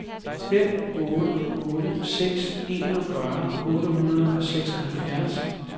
fem otte otte seks enogfyrre otte hundrede og seksoghalvfjerds